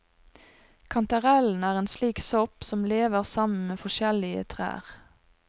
Kantarellen er en slik sopp, som lever sammen med forskjellige trær.